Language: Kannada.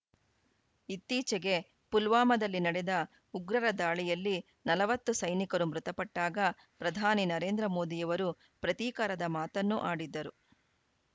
ಇತ್ತೀಚೆಗೆ ಪುಲ್ವಾಮಾದಲ್ಲಿ ನಡೆದ ಉಗ್ರರ ದಾಳಿಯಲ್ಲಿ ನಲವತ್ತು ಸೈನಿಕರು ಮೃತಪಟ್ಟಾಗ ಪ್ರಧಾನಿ ನರೇಂದ್ರ ಮೋದಿಯವರು ಪ್ರತೀಕಾರದ ಮಾತನ್ನು ಆಡಿದ್ದರು